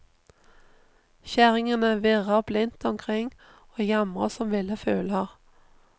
Kjerringene virrer blindt omkring og jamrer som ville fugler.